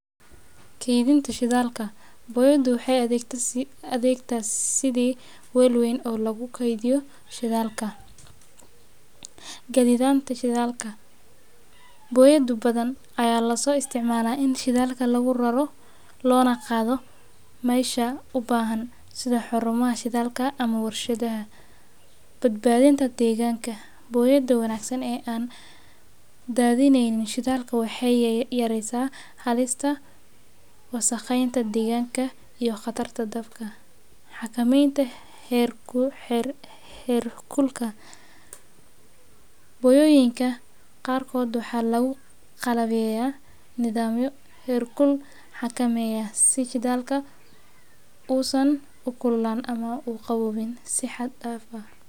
Keydinta shidaalka boyada waxaay adeegtaa sidii waal weyn oo lagu keydiyo shidaalka. Gaditaanta shidaalka boyada badan ayaa lasoo isticmaalaa in shidaalka lagu raro lona qaado mesha ubaahan sida xarumaha shidaalka ama warshadaha. Badbaadinta deegaanka booyada wanaagsan ee an daadineynin shidaalka waxaay yareysaa halista, wasaqeynta deeganka iyo qatarta dabka, xakameynta heer kulka. Boyooyinka qaarkood waxaa lagu qalabeyaa nidaamyo, her kul xakameeyaa si shidaalka usan ukululaanin ama uqabobin si xad daaf ah